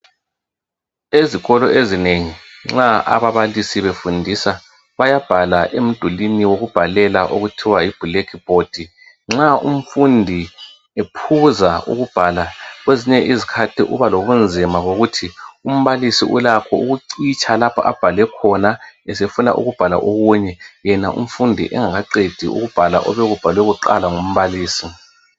Ezikolo ezinengi nxa ababalisi befundisa bayabhala emidulwini wokubhalela okuthiwa yiblack board nxa umfundi ephuza ukubhala kwezinye izikhathi ubalo bunzima bokuthi umbalisi ulakho ukucitsha lapho abhale khona esefuna ukubhala okunye yena umfundi engakaqedi ukubhala obekubhalwe kuqala kumbalisi